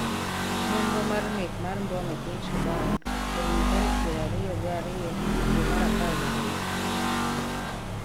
nonro mar nek mak mbom e piny Sudan orumo tarik piero ariyo gi ariyo dwe mar apar gi ariyo